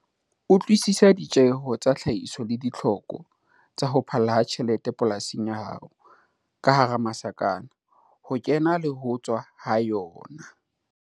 Utlwisisa ditjeho tsa tlhahiso le ditlhoko tsa ho phalla ha tjhelete polasing ya hao, ho kena le ho tswa ha yona.